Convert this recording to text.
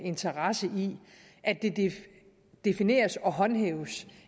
interesse i at det defineres og håndhæves